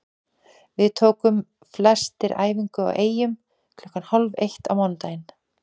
Við tókum flestir æfingu í Eyjum klukkan hálf eitt á mánudaginn.